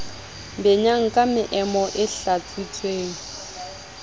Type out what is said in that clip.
benyang ka meomo e hlatswitsweng